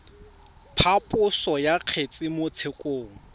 phaposo ya kgetse mo tshekong